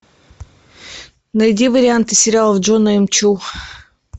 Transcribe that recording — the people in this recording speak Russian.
найди варианты сериалов джона м чу